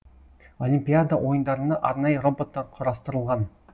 олимпиада ойындарына арнайы роботтар құрастырылған